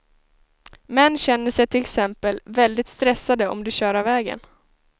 Män känner sig till exempel väldigt stressade om de kör av vägen.